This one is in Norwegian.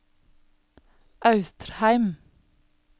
Austrheim